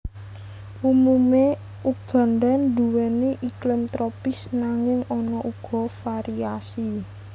Umumé Uganda nduwèni iklim tropis nanging ana uga variasi